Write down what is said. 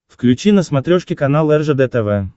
включи на смотрешке канал ржд тв